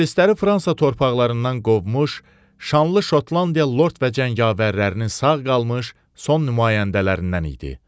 İngilisləri Fransa torpaqlarından qovmuş, şanlı Şotlandiya lord və cəngavərlərinin sağ qalmış son nümayəndələrindən idi.